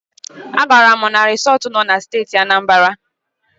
A gaara m na risọt nọ na Steeti Anambara.